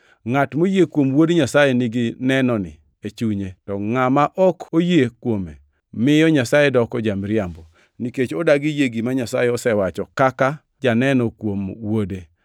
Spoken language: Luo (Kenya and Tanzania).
Ngʼat moyie kuom Wuod Nyasaye nigi nenoni e chunye, to ngʼama ok oyie kuome miyo Nyasaye doko ja-miriambo, nikech odagi yie gima Nyasaye osewacho kaka janeno kuom Wuode.